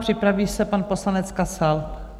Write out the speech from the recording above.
Připraví se pan poslanec Kasal.